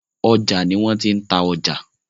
Ọjà ni wọ́n tí ń ta ọjà.